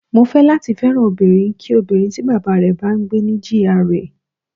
Mo fẹ́ láti fẹ́ràn obìnrin kí obìnrin tí Bàbá rẹ̀ bá ń gbé ní GRA.